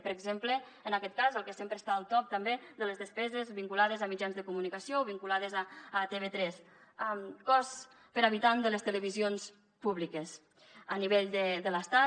per exemple en aquest cas el que sempre està al top també de les despeses vinculades a mitjans de comunicació o vinculades a tv3 cost per habitant de les televisions públiques a nivell de l’estat